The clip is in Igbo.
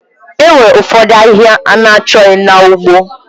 Enwere ụfọdụ ahịhịa na-achọghị na ugbo.